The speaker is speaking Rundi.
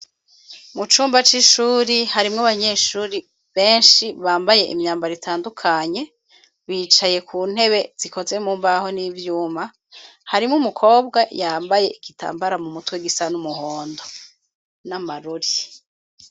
Mucumba c'ishuri ,harimwo abanyeshuri benshi bambaye imyambaro itandukanye, bicaye kuntebe zikozwe mumbaho n'ivyuma, hari n'umukobwa yambaye igitambara mumutwe gisa y'umuhondo, n'amarori.